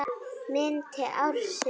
Myndir ársins